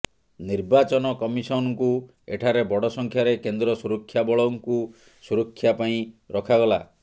ନିର୍ବାଚନ କମିଶନ୍ ଙ୍କୁ ଏଠାରେ ବଡ ସଂଖ୍ୟାରେ କେନ୍ଦ୍ର ସୁରକ୍ଷାବଳଙ୍କୁ ସୁରକ୍ଷା ପାଇଁ ରଖାଗଲା